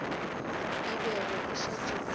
e bego e šetše e